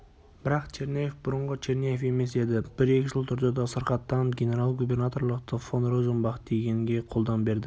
бірақ черняев бұрынғы черняев емес еді бір-екі жыл тұрды да сырқаттанып генерал-губернаторлықты фон розенбах дегенге қолдан берді